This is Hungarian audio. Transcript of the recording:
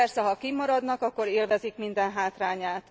Persze, ha kinn maradnak, akkor élvezik minden hátrányát.